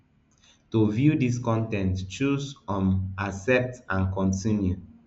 to view dis con ten t choose um accept and continue